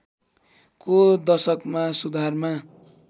को दशकमा सुधारमा